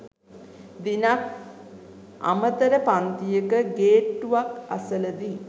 දිනක් අමතර පන්තියක ගේට්ටුවක් අසලදී